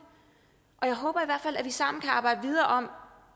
og jeg håber at vi sammen kan arbejde videre